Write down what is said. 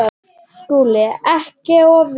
SKÚLI: Ekki of viss!